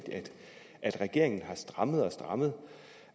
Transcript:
at regeringen har strammet og strammet